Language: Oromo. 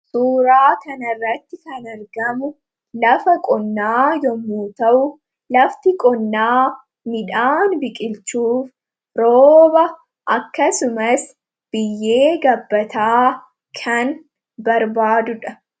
Suuraa kanarratti kan argamu lafa qonnaa yommuu ta'u, lafti qonnaa midhaan biqilchuu rooba akkasumas biyyee gabbataa kan barbaadudha.